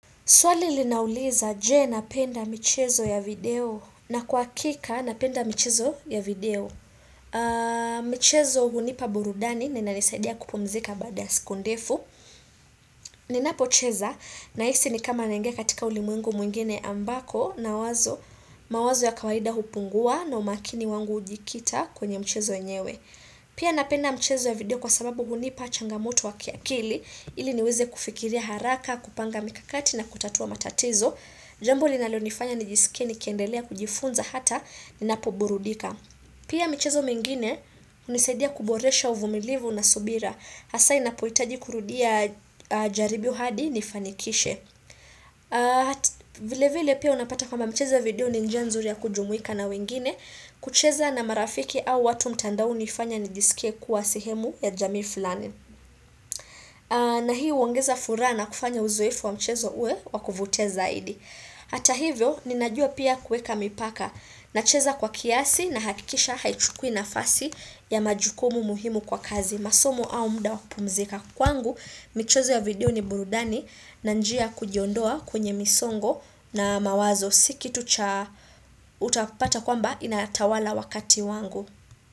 Swali linauliza je napenda michezo ya video na kwa hakika napenda michezo ya video. Michezo hunipa burudani na inanisaidia kupumzika baada ya siku ndefu. Ninapocheza nahisi ni kama naingia katika ulimwengu mwingine ambako nawazo mawazo ya kawahida hupungua na umakini wangu ujikita kwenye michezo enyewe. Pia napenda michezo ya video kwa sababu hunipa changamoto wa kiakili ili niweze kufikiria haraka kupanga mikakati na kutatua matatizo. Jambo linalonifanya nijisikie nikiendelea kujifunza hata ni ninapoburudika. Pia michezo mingine hunisaidia kuboresha uvumilivu na subira. Hasa inapohitaji kurudia jaribio hadi nifanikishe. Vile vile pia unapata kama mchezo ya video ni njia nzuri ya kujumuika na wengine. Kucheza na marafiki au watu mtandaoni hunifanya nijisikie kuwa sehemu ya jamii fulani. Na hii huongeza furaha na kufanya uzoefu wa mchezo uwe wakuvutia zaidi. Hata hivyo, ninajua pia kuweka mipaka, nacheza kwa kiasi nahakikisha haichukui nafasi ya majukumu muhimu kwa kazi, masomu au mda wakupumzika. Kwangu, michezo ya video ni burudani na njia kujiondoa kwenye misongo na mawazo si kitu cha utapata kwamba inatawala wakati wangu.